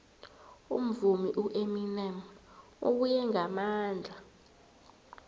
umvumi ueminem ubuye ngamandla